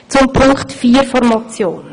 Zu Punkt vier der Motion.